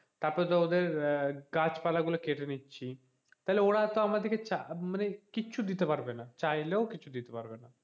তারপর তো ওদের আহ গাছপালা গুলো কেটে নিচ্ছি তাহলে তো ওরা আমাদেরকে মানে কিচ্ছু দিতে পারবে না চাইলেও কিছু দিতে পারবে না,